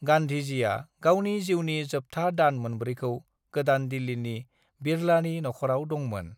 गांधीजीआ गावनि जिउनि जोबथा दान मोनब्रैखौ गोदान दिल्लीनि बिड़लानि नखराव दंमोन।